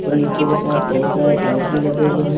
और नीचे के साइड बहुत सारे टाइल्स भी लगे हुए हैं।